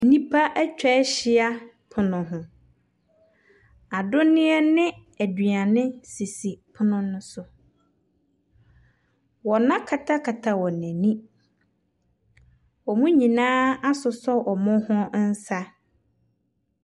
Nnipa atwa ahyia pono ho. Anonneɛ ne aduane sisi pono no so. Wɔakatakata wɔn ani. Wɔn nyinaa asosɔ wɔn nsa.